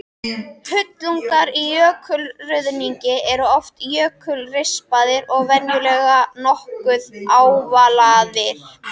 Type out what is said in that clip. Hnullungar í jökulruðningi eru oft jökulrispaðir og venjulega nokkuð ávalaðir.